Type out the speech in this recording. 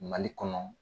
Mali kɔnɔ